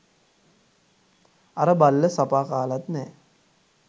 අර බල්ල සපා කාලත් නෑ.